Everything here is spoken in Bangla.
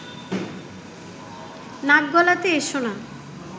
নাক গলাতে এসো না